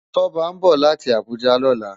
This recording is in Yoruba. Toba nbó láti Abuja lòlá